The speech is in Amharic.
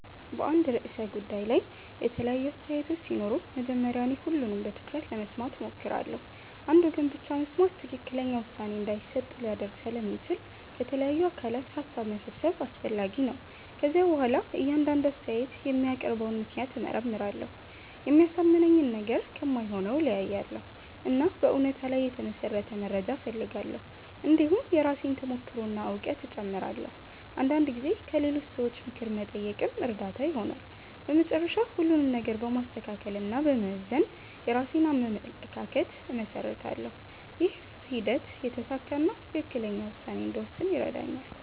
በአንድ ርዕሰ ጉዳይ ላይ የተለያዩ አስተያየቶች ሲኖሩ መጀመሪያ እኔ ሁሉንም በትኩረት ለመስማት እሞክራለሁ። አንድ ወገን ብቻ መስማት ትክክለኛ ውሳኔ እንዳይሰጥ ሊያደርግ ስለሚችል ከተለያዩ አካላት ሀሳብ መሰብሰብ አስፈላጊ ነው። ከዚያ በኋላ እያንዳንዱ አስተያየት የሚያቀርበውን ምክንያት እመርመራለሁ። የሚያሳምነኝን ነገር ከማይሆነው እለያያለሁ፣ እና በእውነታ ላይ የተመሠረተ መረጃ እፈልጋለሁ። እንዲሁም የራሴን ተሞክሮ እና እውቀት እጨምራለሁ። አንዳንድ ጊዜ ከሌሎች ሰዎች ምክር መጠየቅም እርዳታ ይሆናል። በመጨረሻ ሁሉንም ነገር በማስተካከል እና በመመዘን የራሴን አመለካከት እመሰርታለሁ። ይህ ሂደት የተሳካ እና ትክክለኛ ውሳኔ እንድወስን ይረዳኛል።